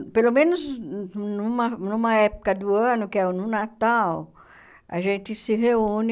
pelo menos numa numa época do ano, que é no Natal, a gente se reúne...